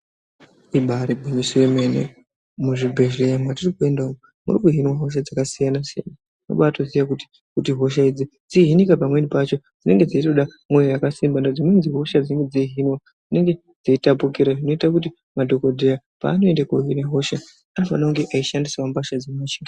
Ibaari gwinyiso yemene muzvibhedhleya mwetiri kuenda umu muri kuhinwa hosha dzakasiyana-siyana, kubaatoziye kuti hosha idzi kuti dzihinike pamweni pacho dzinenge dzeitoda mwoyo yakasimba ngekuti dzimweni hosha dzinenge dzeihinwa dzinenge dzeitapukira, zvinoita kuti madhokodheya paanoenda koohina hosha anofanira kunge eishandisawo mbasha dzinoche...